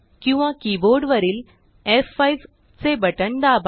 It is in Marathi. किंवा कीबोर्डवरील F5चे बटण दाबा